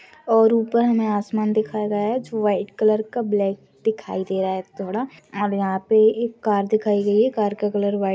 और ऊपर हमे आसमान दिखाया गया है जो व्हाइट कलर का ब्लेक दिखाई दे रहा है थोड़ा और यहा पे एक कार दिखाई गई है कार का कलर व्हाइट --